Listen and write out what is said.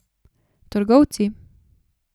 Trgovci.